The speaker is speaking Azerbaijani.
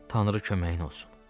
Tanrı köməyin olsun.